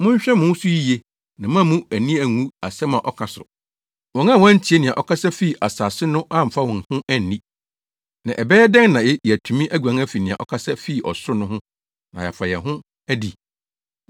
Monhwɛ mo ho so yiye na moammu mo ani angu asɛm a ɔka so. Wɔn a wɔantie nea ɔkasa fii asase so no amfa wɔn ho anni. Na ɛbɛyɛ dɛn na yɛatumi aguan afi nea ɔkasa fi ɔsoro no ho na yɛafa yɛn ho adi?